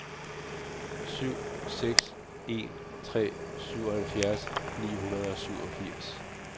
syv seks en tre syvoghalvfjerds ni hundrede og syvogfirs